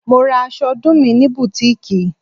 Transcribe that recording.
Mo ra aṣọ ọdún mi ní butiiki.